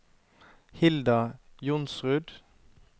Hilda Johnsrud